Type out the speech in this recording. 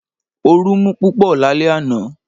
Ooru mú púpọ̀ lálẹ́ àná